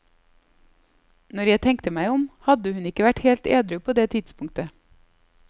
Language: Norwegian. Når jeg tenkte meg om, hadde hun ikke vært helt edru på det tidspunktet.